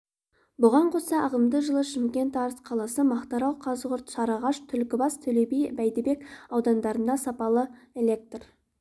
бұған қоса ағымдағы жылы шымкент арыс қаласы мақтарал қазығұрт сарыағаш түлкібас төлеби бәйдібек аудандарында сапалы электр